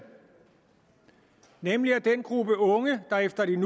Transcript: nemlig af den gruppe unge der efter de